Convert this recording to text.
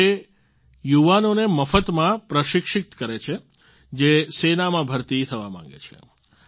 તેઓ એ યુવાનોને મફતમાં પ્રશિક્ષિત કરે છે જે સેનામાં ભરતી થવા માગે છે